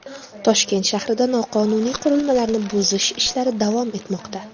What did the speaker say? Toshkent shahrida noqonuniy qurilmalarni buzish ishlari davom etmoqda.